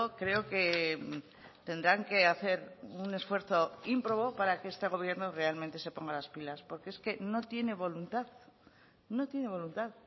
creo que tendrán que hacer un esfuerzo ímprobo para que este gobierno realmente se ponga las pilas porque es que no tiene voluntad no tiene voluntad